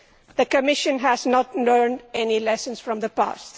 The Commission has not learnt any lessons from the past.